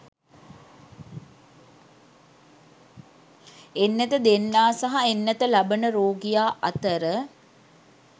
එන්නත දෙන්නා සහ එන්නත ලබන රෝගියා අතර